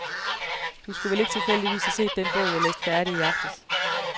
Du skulle vel ikke tilfældigvis have set den bog, jeg læste færdig i aftes?